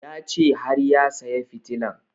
Ya ce har ya saya fitilan